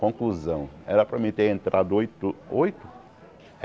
Conclusão, era para mim ter entrado oito, oito?